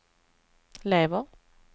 lever